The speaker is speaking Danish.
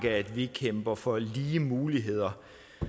at vi kæmper for lige muligheder